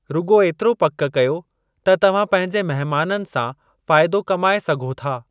रुॻो एतिरो पक कयो त तव्हां पंहिंजे मेहमाननि सां फ़ाइदो कमाए सघो था।